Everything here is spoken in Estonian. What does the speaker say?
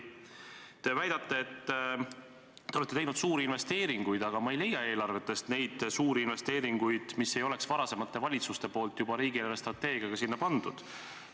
Te väidate, et te olete teinud suuri investeeringuid, aga ma ei leia eelarvetest neid suuri investeeringuid, mida varasemad valitsused ei oleks juba riigi eelarvestrateegiaga sinna pannud.